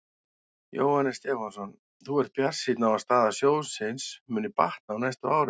Jóhannes Stefánsson: Þú ert bjartsýnn á að staða sjóðsins muni batna á næstu árum?